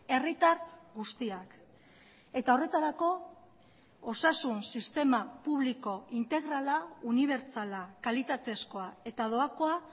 herritar guztiak eta horretarako osasun sistema publiko integrala unibertsala kalitatezkoa eta doakoa